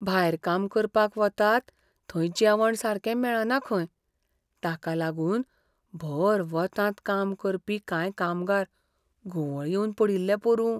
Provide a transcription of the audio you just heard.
भायर काम करपाक वतात थंय जेवण सारकें मेळना खंय. ताका लागून भर वतांत काम करपी कांय कामगार घुंवळ येवन पडिल्ले पोरूं.